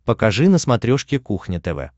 покажи на смотрешке кухня тв